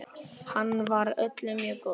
Hann var öllum mjög góður.